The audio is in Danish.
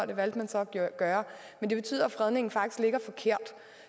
det valgte man så at gøre men det betyder at fredningen faktisk ligger forkert